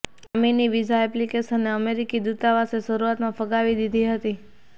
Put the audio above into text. શામીની visa એપ્લીકેશનને અમેરિકી દૂતાવાસે શરૂઆતમાં ફગાવી દીધી હતી